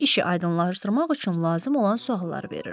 İşi aydınlaşdırmaq üçün lazım olan sualları verirəm.